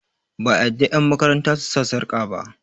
ba a yarda yanmakaranta su sa sarƙa ba